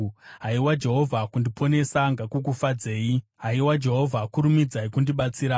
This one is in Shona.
Haiwa Jehovha, kundiponesa ngakukufadzei; haiwa Jehovha, kurumidzai kundibatsira.